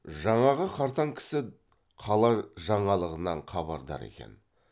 жаңағы қартаң кісі қала жаңалығынан хабардар екен